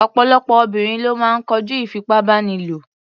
Ọ̀pọ̀lọpọ̀ obìnrin ló máa ń kojú ìfipábánilò.